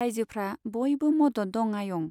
राइजोफ्रा बयबो मदद दं आयं।